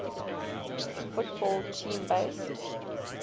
football team based